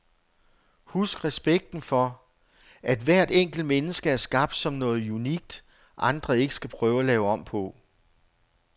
Husk respekten for, at hvert enkelt menneske er skabt som noget unikt, andre ikke skal prøve at lave om på.